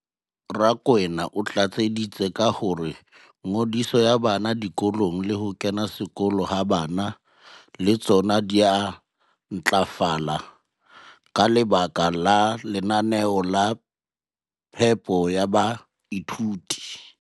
Rakwena o tlatseditse ka hore ngodiso ya bana dikolong le ho kena sekolo ha bana le tsona di a ntlafala ka lebaka la lenaneo la phepo ya baithuti.